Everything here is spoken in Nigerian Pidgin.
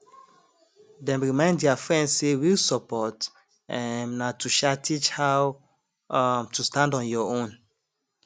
dem remind their friend say real support um na to um teach how um to stand on your own